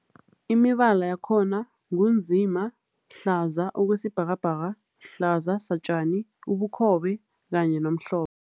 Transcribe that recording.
Imibala yakhona ngu nzima, hlaza okwesibhakabhaka, hlaza satjani, ubukhobe kanye nomhlophe.